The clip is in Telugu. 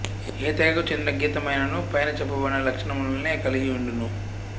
ఏ తెగకు చెందిన గీతమైనను పైన చెప్పబడిన లక్షణములనే కలిగి ఉండును